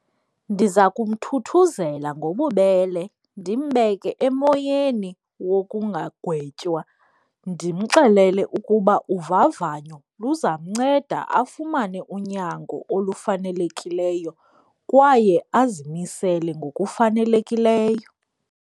Ndiza kumthuthuzela ngobubele, ndimbeke emoyeni wokungagwetywa, ndimxelele ukuba uvavanyo luzamnceda afumane unyango olufanelekileyo kwaye azimisele ngokufanelekileyo.